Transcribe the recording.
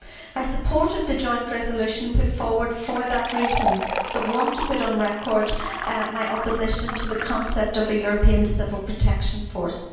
I supported the joint resolution put forward for that reason, but want to put on record my opposition to the concept of a European civil protection force.